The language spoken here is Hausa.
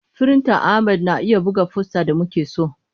Firintan Ahmad na iya buga fosta da muke so.